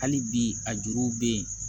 Hali bi a juruw bɛ yen